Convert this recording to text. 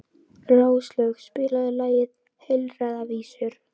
Róslaug, spilaðu lagið „Heilræðavísur“.